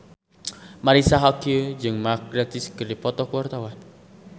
Marisa Haque jeung Mark Gatiss keur dipoto ku wartawan